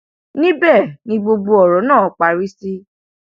níbẹ ni gbogbo ọrọ náà parí sí